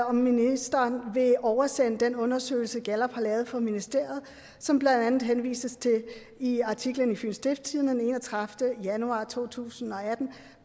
om ministeren vil oversende den undersøgelse gallup har lavet for ministeriet som der blandt andet henvises til i artiklen i fyens stiftstidende enogtredivete januar to tusind og atten